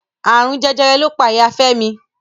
Àrùn Jẹjẹrẹ ló pa Ìya Fẹ́mi.